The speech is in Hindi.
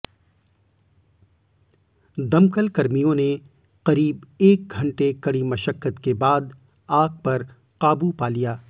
दमकल कर्मियों ने करीब एक घंटे कडी मशक्कत के बाद आग पर काबू पा लिया